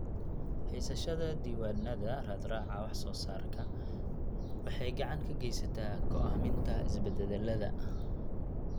Haysashada diiwaannada raadraaca wax-soo-saarka waxay gacan ka geysataa go'aaminta isbeddellada.